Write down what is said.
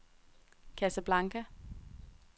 Casablanca